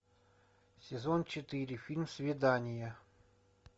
сезон четыре фильм свидание